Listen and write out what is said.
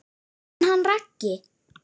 En hann Raggi?